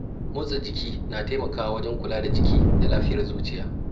Motsa jiki na taimakawa wajen kula da jiki da lafiyar zuciya.